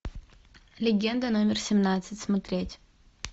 легенда номер семнадцать смотреть